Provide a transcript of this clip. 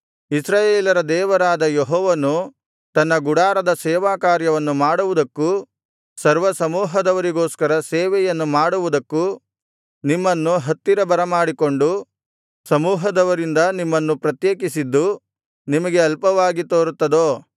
ಇಸ್ರಾಯೇಲರ ದೇವರಾದ ಯೆಹೋವನು ತನ್ನ ಗುಡಾರದ ಸೇವಾಕಾರ್ಯವನ್ನು ಮಾಡುವುದಕ್ಕೂ ಸರ್ವಸಮೂಹದವರಿಗೋಸ್ಕರ ಸೇವೆಯನ್ನು ಮಾಡುವುದಕ್ಕೂ ನಿಮ್ಮನ್ನು ಹತ್ತಿರ ಬರಮಾಡಿಕೊಂಡು ಸಮೂಹದವರಿಂದ ನಿಮ್ಮನ್ನು ಪ್ರತ್ಯೇಕಿಸಿದ್ದು ನಿಮಗೆ ಅಲ್ಪವಾಗಿ ತೋರುತ್ತದೋ